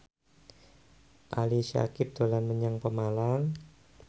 Ali Syakieb dolan menyang Pemalang